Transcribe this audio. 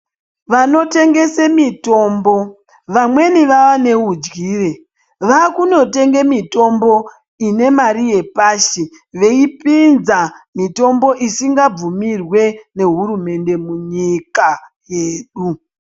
Vanotengese mitombo vamweni vaaneudyire, vaakunotenge mitombo inemare yepashi veipinza mitombo isinga bvumirwi nehurumende munyika yedu.